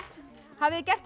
hafið þið gert